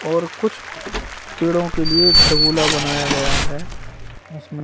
और कुछ पेड़ों के लिए घरगोला बनाया गया है जिसमे--